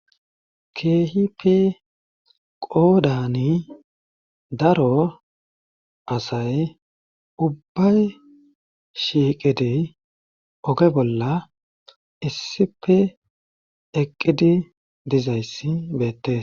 Keehippe qooddani daro asay ubbay shiiqidi oge bolla issippe eqqidi dizayssi beettees